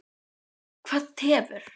Berghildur Erla Bernharðsdóttir: Hvað tefur?